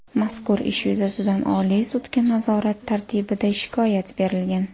Mazkur ish yuzasidan Oliy sudga nazorat tartibida shikoyat berilgan.